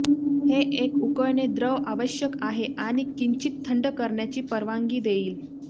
हे एक उकळणे द्रव आवश्यक आहे आणि किंचित थंड करण्याची परवानगी देईल